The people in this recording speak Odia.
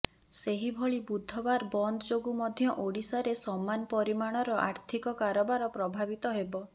ସେହିଭଳି ବୁଧବାର ବନ୍ଦ ଯୋଗୁ ମଧ୍ୟ ଓଡ଼ିଶାରେ ସମାନ ପରିମାଣର ଆର୍ଥିକ କାରବାର ପ୍ରଭାବିତ ହେବ